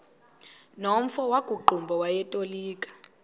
nomfo wakuqumbu owayetolika